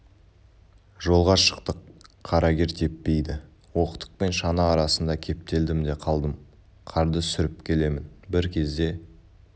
жолға шықтық қарагер теппейді оқтық пен шана арасында кептелдім де қалдым қарды сүріп келемін бір кезде